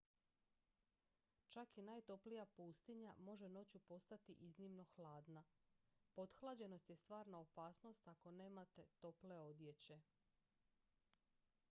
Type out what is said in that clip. čak i najtoplija pustinja može noću postati iznimno hladna pothlađenost je stvarna opasnost ako nemate tople odjeće